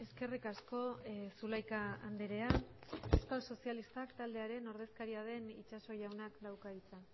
eskerrik asko zulaika andrea euskal sozialistak taldearen ordezkaria den itxaso jaunak dauka hitza